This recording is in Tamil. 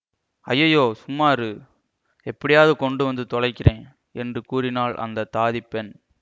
ஐயையோ சும்மா இரு எப்படியாவது கொண்டு வந்து தொலைக்கிறேன் என்று கூறினாள் அந்த தாதிப் பெண்